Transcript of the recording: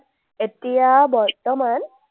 এতিয়া বৰ্তমান